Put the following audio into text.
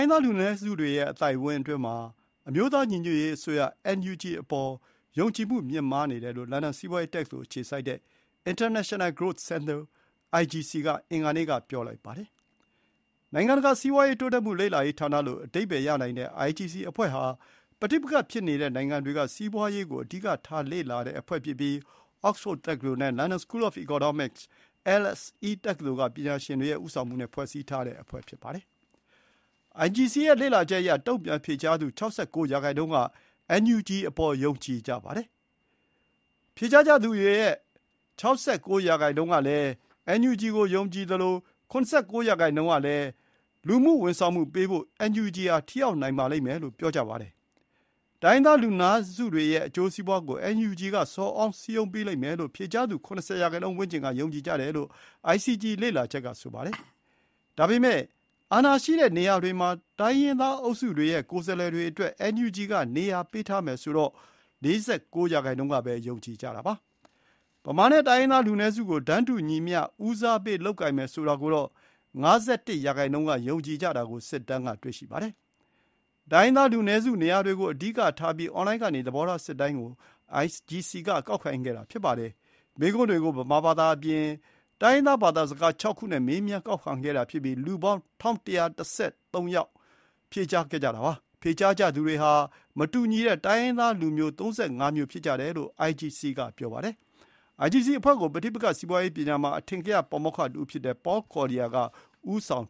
င်းသားလူနည်းစုတွေရဲ့ အသိုက်အဝန်းအတွင်းမှာ အမျိုးသားညီညွတ်ရေးအစိုးရ (NUG) အပေါ် ယုံကြည်မှုမြင့်မားတယ်လို့ လန်ဒန် စီးပွါးရေးတက္ကသိုလ်အခြေစိုက် International Growth Centre IGC က အင်္ဂါနေ့က ပြောလိုက်ပါတယ်။ နိုင်ငံတကာစီးပွါးရေးတိုးတက်မှု လေ့လာရေးဌာနလို့ အဓိပ္ပါယ်ရနိုင်တဲ့ IGC အဖွဲ့ဟာ ပဋိပက္ခ ဖြစ်နေတဲ့နိုင်ငံတွေက စီးပွါးရေးကို အဓိကထားလေ့လာတဲ့အဖွဲ့ဖြစ်ပြီး အောက်စ်ဖို့ဒ် တက္ကသိုလ်နဲ့ London School of Economics LSE တက္ကသိုလ်က ပညာရှင်တွေဦးဆောင်မှုနဲ့ ဖွဲ့စည်းထားတဲ့အဖွဲ့ဖြစ်ပါတယ်။ အိုင်ဂျီစီရဲ့လေ့လာချက်အရ တုံ့ပြန်ဖြေကြားသူ ၆၉ ရာနှုန်းက အင်န်ယူဂျီအပေါ် ယုံကြည်ကြပါတယ်။ ဖြေကြားကြသူတွေရဲ့ တိုင်းရင်းသားဒေသတွေကို လူမှုဝန်ဆောင်မှုပေးဖို့ အင်န်ယူဂျီဟာ ထိရောက်နိုင်ပါလိမ့်မယ်လို့လည်း ၇၉ ရာနှုန်းက ပြောကြပါတယ်။ တိုင်းရင်းသားလူနည်းစုတွေရဲ့ အကျိုးစီးပွါးကို အင်န်ယူဂျီက ဆော်ဩစည်းရုံးပေးလိမ့်မယ်လို့ ဖြေကြားသူ ၇၀ ရာနှုန်းဝန်းကျင်က ယုံကြည်ကြတယ်လို့ အိုင်ဂျီစီလေ့လာချက်က ဆိုပါတယ်။ ဒါပေမဲ့ အာဏာရှိတဲ့နေရာတွေမှာ တိုင်းရင်းသားအုပ်စုတွေရဲ့ ကိုယ်စားလှယ်တွေအတွက် အင်န်ယူဂျီက နေရာပေးထားမယ်ဆိုတာကိုတော့ ၄၉ ရာနှုန်းကပဲ ယုံကြည်ကြပါတယ်။ ဗမာ နဲ့ တိုင်းရင်းသားလူနည်းစုကို တန်းတူညီမျှ ဦးစားပေးလုပ်ကိုင်မယ်ဆိုတာကိုတော့ ၅၁ ရာနှုန်းကပဲ ယုံကြည်ကြတာကို စစ်တမ်းက တွေ့ရှိပါတယ်။ တိုင်းရင်းသားလူနည်းစုနေရာတွေကို အဓိကထားပြီး အွန်လိုင်းကနေ သဘောထားစစ်တမ်း ကို အိုင်ဂျီစီက ကောက်ခံခဲ့တာဖြစ်ပါတယ်။ မေးခွန်းတွေကို ဗမာဘာသာအပြင် တိုင်းရင်းသား ဘာသာစကား ၆ မျိုးနဲ့ မေးမြန်းကောက်ခံခဲ့တာဖြစ်ပြီး လူပေါင်း ၁,၁၁၃ ယောက် ဖြေကြားခဲ့ကြတာပါ။ ဖြေကြားကြသူတွေဟာ မတူညီတဲ့တိုင်းရင်းသား ၃၅ မျိုးဖြစ်ကြတယ်လို့ အိုင်ဂျီစီ က ပြောပါတယ်။ အိုင်ဂျီစီအဖွဲ့ကို ပဋိပက္ခစီးပွါးရေးပညာမှာ အထင်ကရပါမောက္ခတဦးဖြစ်တဲ့ ပေါ်လ်ကော်လီယာကဦးဆောင်